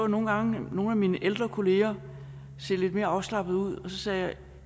nogle gange nogle af mine ældre kolleger se lidt mere afslappede ud og så sagde jeg